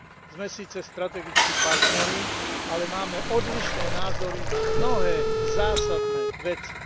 Sme síce strategickí partneri, ale máme odlišné názory na mnohé zásadné veci.